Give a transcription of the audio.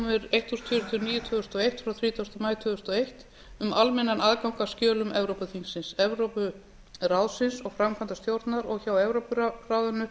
eitt þúsund fjörutíu og níu tvö þúsund og eitt frá þrítugasta maí tvö þúsund og eitt um almennan aðgang að skjölum evrópuþingsins evrópuráðsins og framkvæmdastjórnar og hjá evrópuráðinu